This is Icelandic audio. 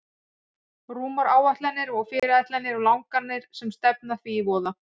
Rúmar áætlanir og fyrirætlanir og langanir sem stefna því í voða.